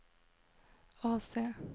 AC